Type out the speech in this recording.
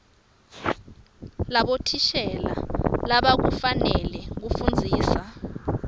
labothishela labakufanele kufundzisa